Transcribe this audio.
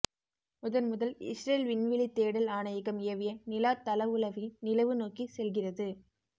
முதன்முதல் Israel விண்வெளித் தேடல் ஆணையகம் ஏவிய நிலாத் தளவுளவி நிலவு நோக்கிச் செல்கிறது